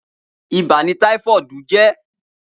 Ibà ni tàífọ̀dí jè